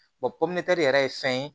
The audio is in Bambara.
popila yɛrɛ ye fɛn ye